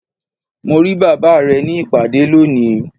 Mo ri baba rẹ ni ipade loni